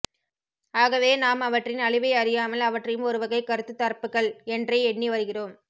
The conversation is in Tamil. ஆகவே நாம் அவற்றின் அழிவை அறியாமல் அவற்றையும் ஒருவகை கருத்துத்தரப்புகள் என்றே எண்ணி வருகிறோம்